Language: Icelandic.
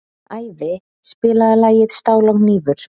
Ævi, spilaðu lagið „Stál og hnífur“.